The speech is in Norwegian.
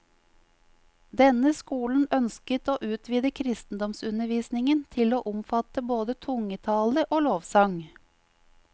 Denne skolen ønsket å utvide kristendomsundervisningen til å omfatte både tungetale og lovsang.